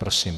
Prosím.